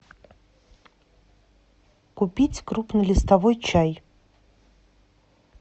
купить крупнолистовой чай